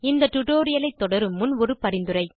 இந்த டியூட்டோரியல் ஐ தொடரும் முன் ஒரு பரிந்துரை